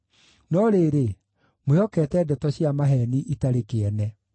No rĩrĩ, mwĩhokete ndeto cia maheeni itarĩ kĩene.